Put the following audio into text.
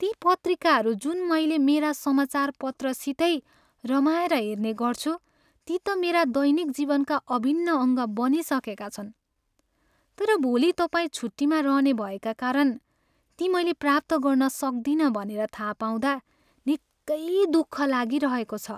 ती पत्रिकाहरू जुन मैले मेरा समाचार पत्रसितै रमाएर हेर्ने गर्छु, ती त मेरा दैनिक जीवनका अभिन्न अङ्ग बनिसकेका छन्। तर भोली तपाईँ छुट्टिमा रहने भएका कारण ती मैले प्राप्त गर्न सक्दिनँ भनेर थाहा पाउँदा निकै दुःख लागिरहेको छ।